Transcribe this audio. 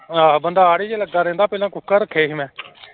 ਆਹੋ ਬੰਦਾ ਹਾੜੇ ਜਿਹੇ ਲੱਗਾ ਰਹਿੰਦਾ ਪਹਿਲਾਂ ਕੁੱਕੜ ਰੱਖੇ ਸੀ ਮੈਂ।